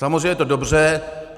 Samozřejmě je to dobře.